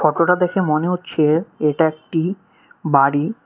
ফটোটা দেখে মনে হচ্ছে এটা একটি বাড়ি।